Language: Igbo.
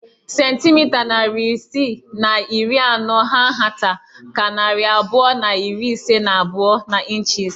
Centimita narị isii na iri anọ hà nhata ka narị abụọ na iri ise na abụọ n'ịnchis